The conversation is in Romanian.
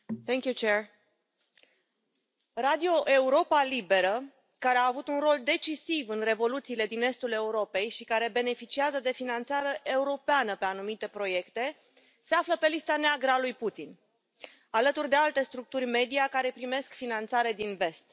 Doamnă președintă, Radio Europa Liberă, care a avut un rol decisiv în revoluțiile din estul Europei și care beneficiază de finanțare europeană pe anumite proiecte se află pe lista neagră a lui Putin, alături de alte structuri media care primesc finanțare din vest.